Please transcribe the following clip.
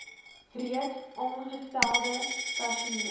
reeds aangestelde personeel